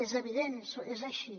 és evident és així